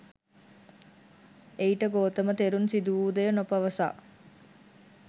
එයිට ගෝතම තෙරුන් සිදු වූ දෙය නො පවසා